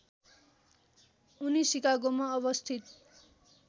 उनी सिकागोमा अवस्थित